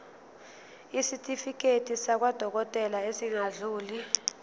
isitifiketi sakwadokodela esingadluli